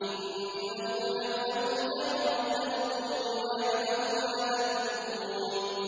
إِنَّهُ يَعْلَمُ الْجَهْرَ مِنَ الْقَوْلِ وَيَعْلَمُ مَا تَكْتُمُونَ